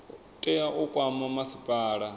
tea u kwama masipala wa